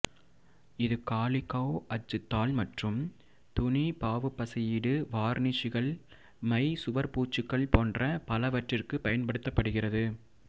இது காலிகோ அச்சு தாள் மற்றும் துணி பாவுப்பசையீடு வார்னிஷ்கள் மை சுவர்பூச்சுகள் போன்ற பலவற்றிற்கு பயன்படுத்தப்படுகிறது